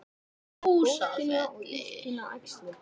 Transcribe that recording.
Húsafelli